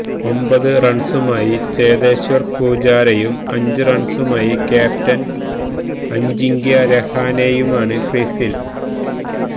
ഒമ്പത് റണ്സുമായി ചേതേശ്വര് പൂജാരയും അഞ്ച് റണ്സുമായി ക്യാപ്റ്റന് അജിങ്ക്യ രഹാനെയുമാണ് ക്രീസില്